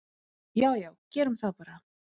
"""Já já, gerum það bara."""